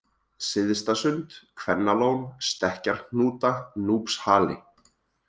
Syðstasund, Kvennalón, Stekkjarhnúta, Núpshali